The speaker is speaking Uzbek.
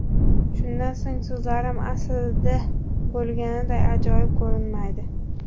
Shundan so‘ng so‘zlarim aslida bo‘lganiday ajoyib ko‘rinmaydi.